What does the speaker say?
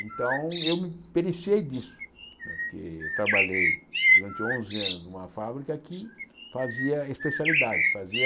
Então eu me periciei disso, né porque eu trabalhei durante onze anos numa fábrica que fazia especialidades, fazia